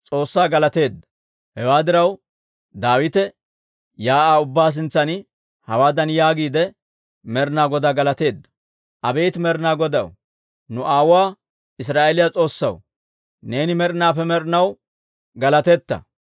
Hewaa diraw, Daawite shiik'uwaa ubbaa sintsan hawaadan yaagiide, Med'inaa Godaa galateedda; «Abeet Med'inaa Godaw, nu aawuwaa Israa'eeliyaa S'oossaw, neeni med'inaappe med'inaw galatiitta.